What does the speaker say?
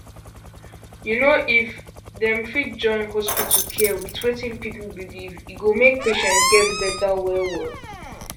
you know if dem fit join hospital care with wetin people believe e go make patients get better wellwell